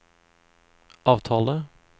avtale